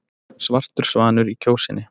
Svartur svanur í Kjósinni